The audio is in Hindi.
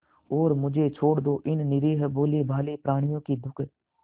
और मुझे छोड़ दो इन निरीह भोलेभाले प्रणियों के दुख